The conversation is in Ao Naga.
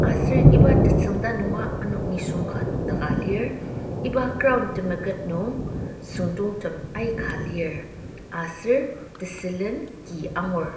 aser iba tetsüngda nunga ano nisung ka nokdaka lir iba ground temeket nung süngdongtem aika lir aser tesülen ki angur.